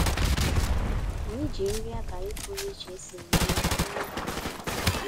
Ànyị́ jí nrí àbálị́ pụ̀rụ̀ iche ésìrí nụ́lọ̀ méé mmèmme.